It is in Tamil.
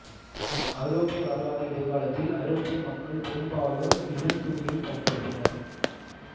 ஐரோப்பிய வரலாறு இடைக்காலத்தில் ஐரோப்பிய மக்கள் பெரும்பாலோர் லினன் துணியை பயன்படுத்தினர்